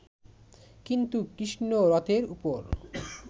কিন্তু কৃষ্ণ রথের উপর